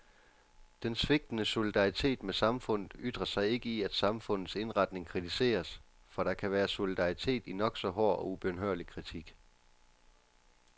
Den svigtende solidaritet med samfundet ytrer sig ikke i at samfundets indretning kritiseres, for der kan være solidaritet i nok så hård og ubønhørlig kritik.